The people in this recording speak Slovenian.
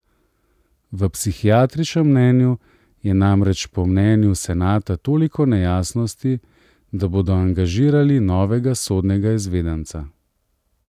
V psihiatričnem mnenju je namreč po mnenju senata toliko nejasnosti, da bodo angažirali novega sodnega izvedenca.